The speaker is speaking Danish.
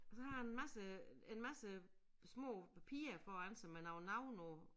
Og så har han en masse en masse små papirer foran sig med nogle navne på